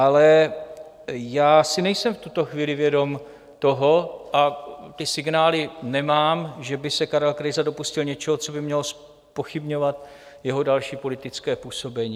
Ale já si nejsem v tuto chvíli vědom toho, a ty signály nemám, že by se Karel Krejza dopustil něčeho, co by mělo zpochybňovat jeho další politické působení.